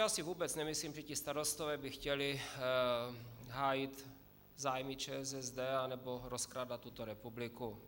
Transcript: Já si vůbec nemyslím, že ti starostové by chtěli hájit zájmy ČSSD nebo rozkrádat tuto republiku.